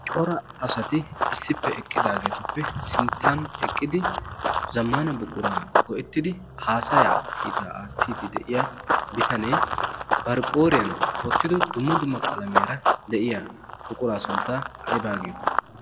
cora asati issippe eqqidaageetuppe sinttan eqqidi zammaana buquraa go7ettidi haasaya kiitaa aattiiddi de7iya bitanee bariqooriyan oottido dumma duma qalamiyaara de7iya buquraa sunttaa aybaa giyo?